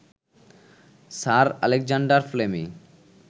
sir Alexander ফ্লেমি